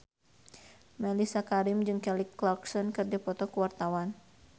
Mellisa Karim jeung Kelly Clarkson keur dipoto ku wartawan